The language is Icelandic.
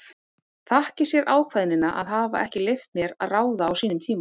Þakki sér ákveðnina að hafa ekki leyft mér að ráða á sínum tíma.